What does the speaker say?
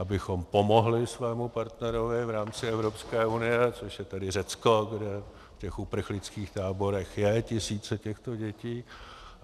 Abychom pomohli svému partnerovi v rámci Evropské unie, což je tedy Řecko, kde v těch uprchlických táborech jsou tisíce těchto dětí.